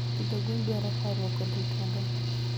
Pidho gwen dwaro horuok kod rit maber.